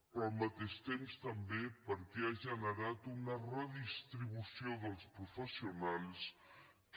però al mateix temps també perquè ha generat una redistribució dels professionals que